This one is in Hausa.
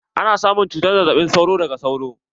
Ana samun cutar zazzaɓin sauro daga sauro.